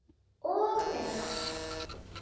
Og vinna.